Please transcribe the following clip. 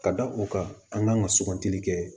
Ka da o kan an kan ka sugantili kɛ